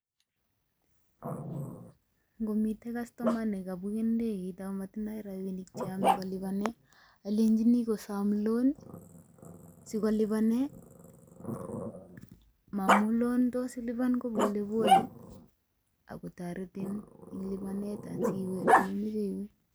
Ngomite customer ne kabuken ndegeit ago matindoi rabinik che yame kolipan, alenjini kosom loan sokolipane, momu loan kotos ilipan ko polepole akotoretin eng lipanet asiwe ole imache iwe.